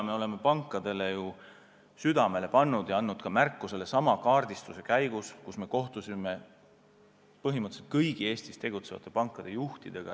Me oleme sellest märku andnud sellesama kaardistuse käigus, kus me kohtusime põhimõtteliselt kõigi Eestis tegutsevate pankade juhtidega.